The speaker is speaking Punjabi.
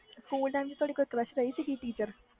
ਸਕੂਲ time ਤੁਹਾਡੇ crush ਵਿਚ ਸੀ ਕੋਈ teacher